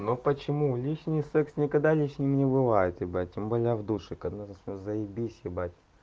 ну почему лишний секс никогда лишним не бывает ебать тем более в душе когда заебись ебать